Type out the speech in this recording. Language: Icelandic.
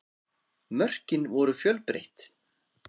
Mörkin voru fjölbreytt